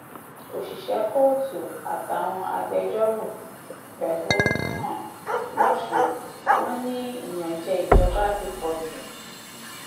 òṣìṣẹ kóòtù àtàwọn agbẹjọrò fẹhónú hàn lọọsùn wọn ni ìyànjẹ ìjọba ti pọ jù